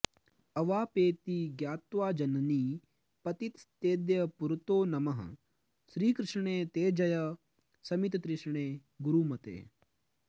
अवापेति ज्ञात्वा जननि पतितस्तेऽद्य पुरतो नमः श्रीकृष्णे ते जय शमिततृष्णे गुरुमते